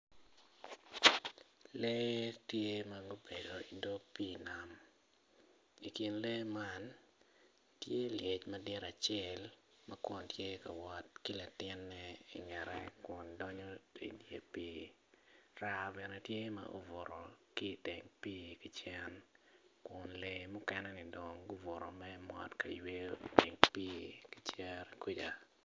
Lee tye ma gubedo idog pii nam i kin lee man tye lyec madit acelm ma kun tye ka wot ki latinne i ngete kun donyo tung i dye pii raa bene tye ma obuto ki iteng pii ki cen kun lee mukene-ni dong gubutu me mot ka yweyo iteng pii ki i cere kuja